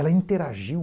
Ela interagiu.